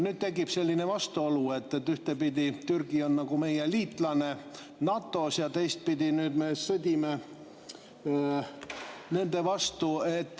Tekib selline vastuolu, et ühtpidi on Türgi meie liitlane NATO‑s ja teistpidi me nüüd sõdime tema vastu.